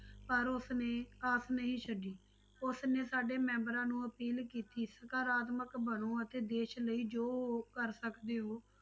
ਪਰ ਉਸਨੇ ਆਸ ਨਹੀਂ ਛੱਡੀ, ਉਸਨੇ ਸਾਡੇ ਮੈਂਬਰਾਂ ਨੂੰ appeal ਕੀਤੀ ਸਕਰਾਤਮਕ ਬਣੋ ਅਤੇ ਦੇਸ ਲਈ ਜੋ ਕਰ ਸਕਦੇ ਹੋ